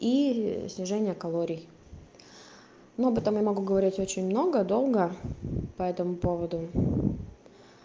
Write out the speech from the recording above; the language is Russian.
и снижение калорий но об этом я могу говорить очень много долго по этому поводу